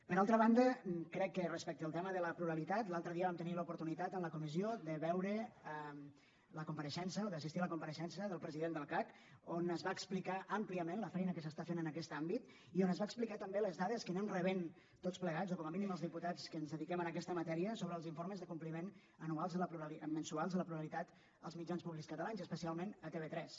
per altra banda crec que respecte al tema de la pluralitat l’altre dia vam tenir l’oportunitat en la comissió de veure la compareixença o d’assistir a la compareixença del president del cac on es va explicar àmpliament la feina que s’està fent en aquest àmbit i on ens va explicar també les dades que anem rebent tots plegats o com a mínim els diputats que ens dediquem a aquesta matèria sobre els informes de compliment mensuals de la pluralitat als mitjans públics catalans i especialment a tv3